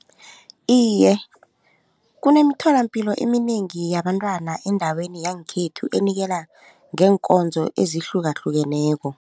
Iye, kunemitholampilo eminengi yabantwana endaweni yangekhethu enikela ngeenkonzo ezihlukahlukeneko.